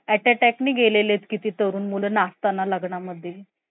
Heart attack ne गेलेले आहेत. किती तरुण मुलं नाचताना लग्ना मध्ये